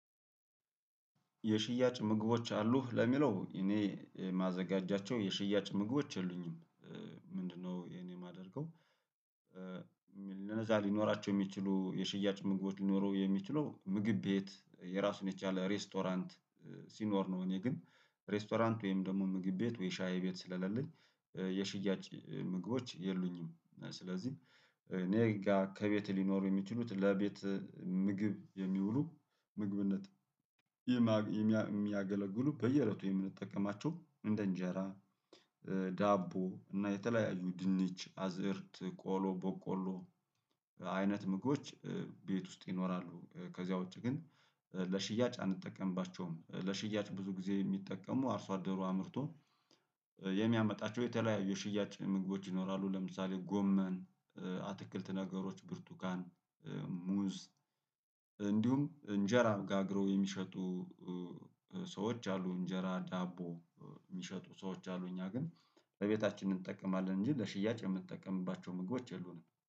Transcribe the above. የሽያጭ ምግቦች አሉህ ለሚለው እኔ ማዘጋጃቸው የሽያጭ ምግቦች የሉኝም። ምንድነው እኔ የማደርገው? ለነዛ ሊኖራቸው የሚችሉ የሽያጭ ምግቦች ሊኖሩ የሚችለው ምግብ ቤት የራሱን የቻለ ሬስቶራንት ሲኖር ነው። እኔ ግን ሬስቶራንት ወይም ደግሞ ምግብ ቤት ወይ ሻይ ቤት ስለሌለኝ የሽያጭ ምግቦች የሉኝም። ስለዚህ እኔ ጋር ከቤት ሊኖሩ የሚችሉት ለቤት ምግብ የሚውሉ ምግብነት የሚያገለግሉ በየእለቱ የምንጠቀማቸው እንደ እንጀራ ዳቦ እና የተለያዩ ድንች አዝእርት ቆሎ ቦቆሎ አይነት ምግቦች ቤት ውስጥ ይኖራሉ። ከዚያ ውጪ ግን ለሽያጭ አንጠቀምባቸውም ለሽያጭ ብዙ ጊዜ የሚጠቀሙ አርሶ አደሩ አምርቶ የሚያመጣቸው የተለያዩ የሽያጭ ምግቦች ይኖራሉ። ለምሳሌ ጎመን አትክልት ነገሮች ብርቱካን ሙዝ እንዲሁም እንጀራ ጋግረው የሚሸጡ ሰዎች አሉ። እንጀራ ዳቦ የሚሸጡ ሰዎች አሉ። እኛ ግን ለቤታችን እንጠቀማለን እንጂ ለሽያጭ የምንጠቀምባቸው ምግቦች የሉንም